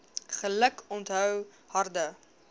geluk onthou harde